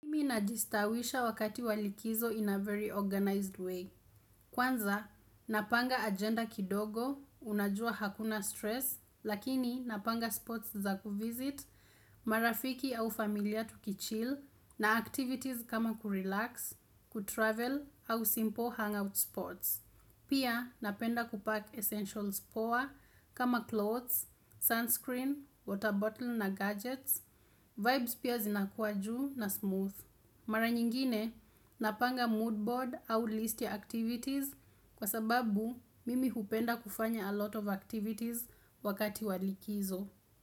Mi na jistawisha wakati walikizo in a very organized way. Kwanza, napanga agenda kidogo, unajua hakuna stress, lakini napanga sports za kufizit, marafiki au familia tukichil, na activities kama kurelax, kutravel, au simple hangout sports. Pia, napenda kupack essentials power kama clothes, sunscreen, water bottle na gadgets, vibes pia zinakuwa juu na smooth. Mara nyingine, napanga mood board au list ya activities kwa sababu mimi hupenda kufanya a lot of activities wakati walikizo.